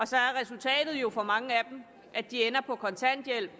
så er resultatet jo for mange af dem at de ender på kontanthjælp